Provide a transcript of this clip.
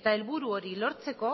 eta helburu hori lortzeko